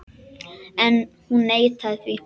En hún neitaði því.